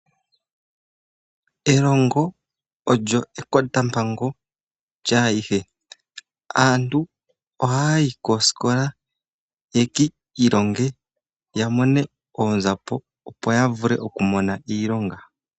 Elongo olyo ekotampango lyaayihe, ano aantu ohaya yi koosikola yeki ilonge ya mone oonzapo, opo ya vule okumona iilonga.